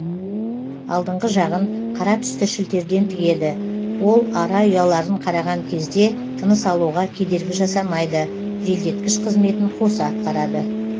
алдыңғы жағын қара түсті шілтерден тігеді ол ара ұяларын қараған кезде тыныс алуға кедергі жасамайды желдеткіш қызметін қоса атқарады